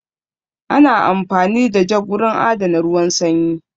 Ana amfani da jug wurin adana ruwan sanyi